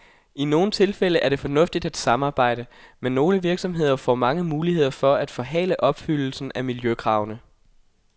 I nogle tilfælde er det fornuftigt at samarbejde, men nogle virksomheder får mange muligheder for at forhale opfyldelsen af miljøkravene.